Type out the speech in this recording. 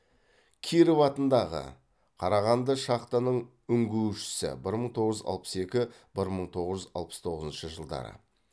киров атындағы қарағанды шахтаның үңгушісі бір мың тоғыз жүз алпыс екі бір мың тоғыз жүз алпыс тоғызыншы жылдары